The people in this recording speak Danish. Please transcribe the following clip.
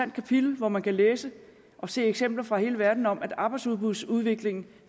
kapitel hvor man kan læse og se eksempler fra hele verden om at arbejdsudbudsudviklingen